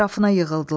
Ətrafına yığıldılar.